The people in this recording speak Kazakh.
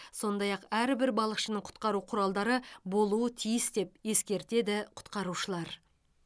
сондай ақ әрбір балықшының құтқару құралдары болуы тиіс деп ескертеді құтқарушылар